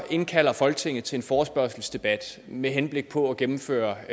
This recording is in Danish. indkalde folketinget til en forespørgselsdebat med henblik på at gennemføre